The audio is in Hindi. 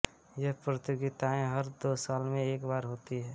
ये प्रतियोगिताएं हर दो साल में एक बार होती हैं